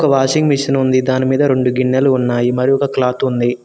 Washing machine ఉంది దాని మీద రెండు గిన్నెలు ఉన్నాయి మరి ఒక క్లాత్ ఉంది.